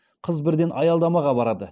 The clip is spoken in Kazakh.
қыз бірден аялдамаға барады